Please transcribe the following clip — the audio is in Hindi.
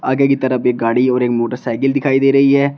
आगे की तरफ एक गाड़ी और एक मोटरसाइकिल दिखाई दे रही है।